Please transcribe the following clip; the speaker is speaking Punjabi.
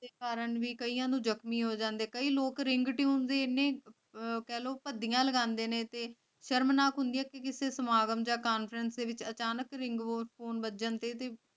ਕਾਰਨ ਵੀ ਕਈਆਂ ਨੂੰ ਜ਼ਖ਼ਮੀ ਹੋ ਜਾਂਦੇ ਕਈ ਲੋਕ ਰਿੰਗਟਿਊਨ